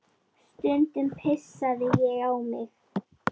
Stundum pissaði ég á mig.